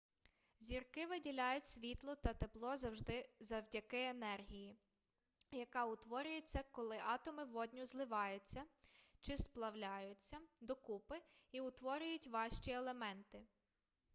зірки виділяють світло та тепло завдяки енергії яка утворюється коли атоми водню зливаютья чи сплавляються докупи і утворюють важчі елементи